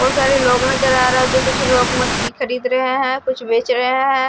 बहुत सारे लोग नजर आ रहे हैं जो कुछ मछली खरीद रहे हैं कुछ बेच रहे हैं।